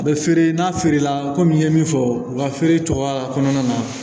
A bɛ feere n'a feerela i ye min fɔ u ka feere cogoya kɔnɔna na